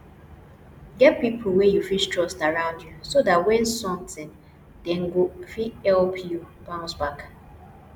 get pipo wey you fit trust around you so dat when something dem go fit help you bounce back